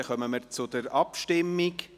Dann kommen wir zur Abstimmung.